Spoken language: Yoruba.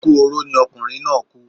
Ikú oró ni ọkunrin naa ku